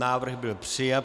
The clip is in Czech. Návrh byl přijat.